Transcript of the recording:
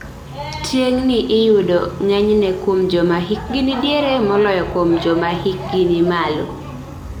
Tieng'ni iyudo g'enyne kuom joma hikgi nidiere moloyo joma hikgi ni malo